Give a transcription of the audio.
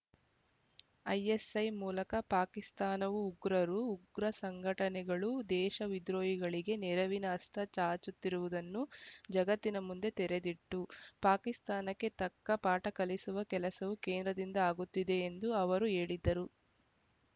ISI ಮೂಲಕ ಪಾಕಿಸ್ಥಾನವು ಉಗ್ರರು ಉಗ್ರ ಸಂಘಟನೆಗಳು ದೇಶ ವಿದ್ರೋಹಿಗಳಿಗೆ ನೆರವಿನ ಅಸ್ತ ಚಾಚುತ್ತಿರುವುದನ್ನು ಜಗತ್ತಿನ ಮುಂದೆ ತೆರೆದಿಟ್ಟು ಪಾಕಿಸ್ಥಾನಕ್ಕೆ ತಕ್ಕ ಪಾಠ ಕಲಿಸುವ ಕೆಲಸವೂ ಕೇಂದ್ರದಿಂದ ಆಗುತ್ತಿದೆ ಎಂದು ಅವರು ಹೇಳಿದರು